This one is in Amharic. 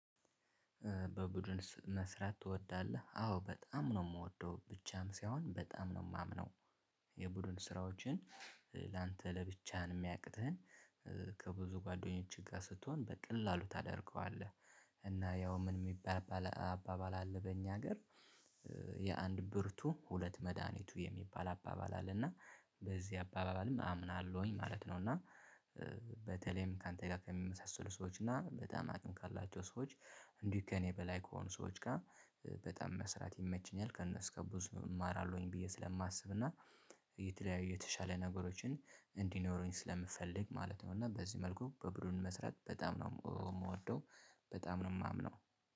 በቡድን መስራት ትወዳለህ አዎ በጣም ነው የምወደው ብቻም ሳይሆን በጣም ነው የማምነው የቡድን ስራዎችን ላንተ ለብቻህን የሚያቅተህን ከብዙ ጓደኞችህ ጋር ስትሆን በቀላሉ ታደርገዋለህ። እና ያው ምን የሚባል አባባል አለ በእኛ ሀገር? የአንድ ብርቱ ሁለት መድሃኒቱ የሚባል አባባል አለና በዚህ አባባልም አምናለሁኝ ማለት ነው። እና በተለይም ካንተ ጋር ከሚመሳሰሉ ሰዎች እና በጣም አቅም ካላቸው ሰዎች እንዲህ ከእኔ በላይ ከሆኑ ሰዎች ጋር በጣም መስራት ይመችኛል። ከእነሱ ከብዙ እማራለሁኝ ብዬ ስለማስብና የተለያየ የተሻለ ነገሮችን እንዲኖረኝ ስለምፈልግ ማለት ነው። እና በዚህ መልኩ በቡድን መስራት በጣም ነው የምወደው በጣም ነው የማምነው